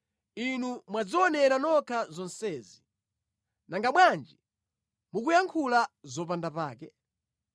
Inu mwadzionera nokha zonsezi. Nanga bwanji mukuyankhula zopanda pake?